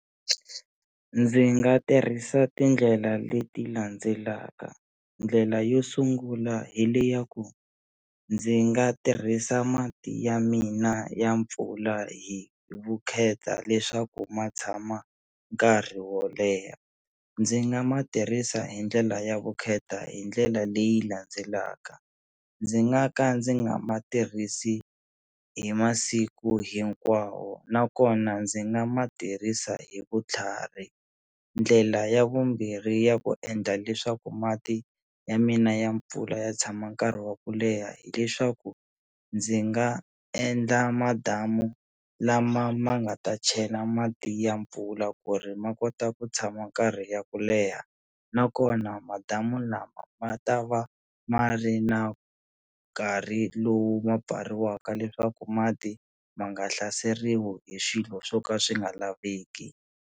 Ndzi nga tirhisa tindlela leti landzelaka ndlela yo sungula hi le ya ku ndzi nga tirhisa mati ya mina ya mpfula hi vukheta leswaku ma tshama nkarhi wo leha, ndzi nga ma tirhisa hi ndlela ya vukheta hi ndlela leyi landzelaka ndzi nga ka ndzi nga ma tirhisi hi masiku hinkwawo nakona ndzi nga ma tirhisa hi vutlhari, ndlela ya vumbirhi ya ku endla leswaku mati ya mina ya mpfula ya tshama nkarhi wa ku leha hileswaku ndzi nga endla madamu lama ma nga ta chela mati ya mpfula ku ri ma a kota ku tshama karhi ya ku leha nakona madamu lama ma ta va ma ri na nkarhi lowu ma pfariwaka leswaku mati ma nga hlaseriwi hi swilo swo ka swi nga laveki.